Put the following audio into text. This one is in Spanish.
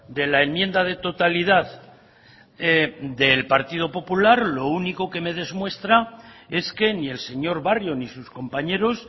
de la enmienda de totalidad del partido popular lo único que me demuestra es que ni el señor barrio ni sus compañeros